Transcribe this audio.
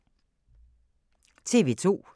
TV 2